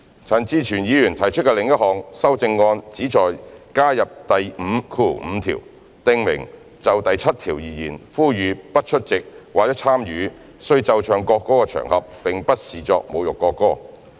陳志全議員提出的另一項修正案旨在加入第55條，訂明"就第7條而言，呼籲不出席或參與須奏唱國歌的場合並不視作侮辱國歌"。